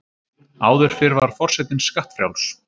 Áður fyrr var forsetinn skattfrjáls.